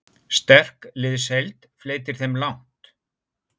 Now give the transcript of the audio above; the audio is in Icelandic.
Sterk liðsheild fleytir þeim langt.